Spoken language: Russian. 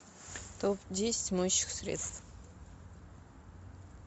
топ десять моющих средств